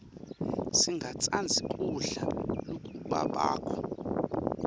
singatsandzi kudla lokubabako